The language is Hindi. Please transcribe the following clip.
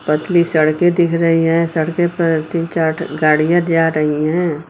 पतली सड़कें दिख रही हैं सड़कें पर तीन चार ठो गाड़ियां जा रही हैं।